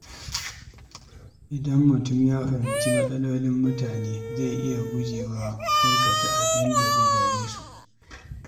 Idan mutum ya fahimci matsalolin mutane, zai fi iya guje wa aikata abin da zai dame su.